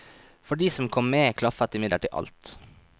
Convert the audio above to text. For de som kom med klaffet imidlertid alt.